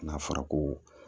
N'a fɔra ko